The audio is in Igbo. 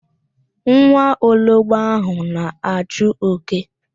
Nwa ologbo ahụ na-achụ oke.